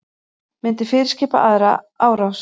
Myndi fyrirskipa aðra árás